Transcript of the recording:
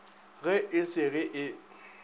ge e se ge e